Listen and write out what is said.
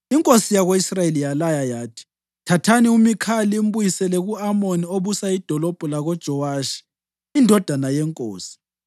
Inkosi yako-Israyeli yalaya yathi, “Thathani uMikhaya limbuyisele ku-Amoni obusa idolobho lakoJowashi indodana yenkosi.